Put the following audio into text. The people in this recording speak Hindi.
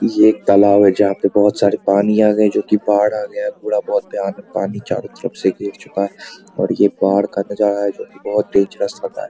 ये एक तालाब है जहां पे बहुत सारे पानी आ गए जो कि बाढ़ आ गया पूरा लगता है पानी यहां चारों तरफ से घिर चुका है और ये बाढ़ का नजारा है जो कि बहुत डेंजरस लग रहा है।